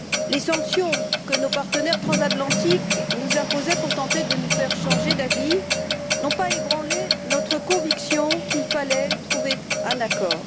Les sanctions que nos partenaires transatlantiques nous imposaient pour tenter de nous faire changer d'avis n'ont pas ébranlé notre conviction qu'il fallait trouver un accord.